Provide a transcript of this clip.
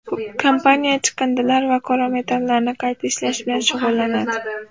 Kompaniya chiqindilar va qora metallarni qayta ishlash bilan shug‘ullanadi.